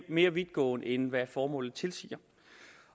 mere vidtgående end hvad formålet tilsiger